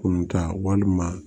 Kunun ka walima